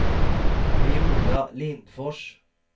Viola Lindfors